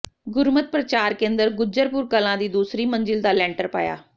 ਗੁਰਮਤਿ ਪ੍ਰਚਾਰ ਕੇਂਦਰ ਗੁਜਰਪੁਰ ਕਲਾਂ ਦੀ ਦੂਸਰੀ ਮੰਜ਼ਿਲ ਦਾ ਲੈਂਟਰ ਪਾਇਆ